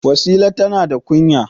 Wasila tana da kunya.